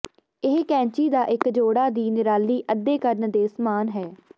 ਇਹ ਕੈਚੀ ਦਾ ਇੱਕ ਜੋੜਾ ਦੀ ਨਿਰਾਲੀ ਅੱਧੇ ਕਰਨ ਦੇ ਸਮਾਨ ਹੈ